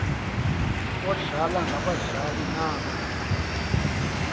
omdlalo ngabadlali naba